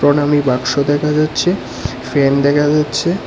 প্রণামী বাক্স দেখা যাচ্ছে ফ্যান দেখা যাচ্ছে।